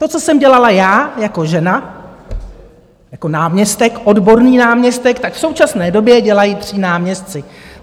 To, co jsem dělala já jako žena, jako náměstek, odborný náměstek, tak v současné době dělají tři náměstci.